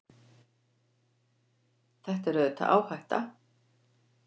Þetta er auðvitað áhætta.